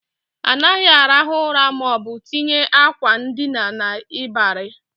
Anaghị arahu ura maọbụ tinye akwa ndina n'ịbarị